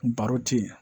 Baro ti ye